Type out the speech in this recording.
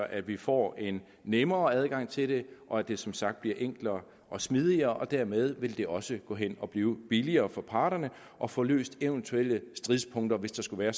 at vi får en nemmere adgang til det og at det som sagt bliver enklere og smidigere dermed vil det også gå hen at blive billigere for parterne at få løst eventuelle stridspunkter hvis der skulle være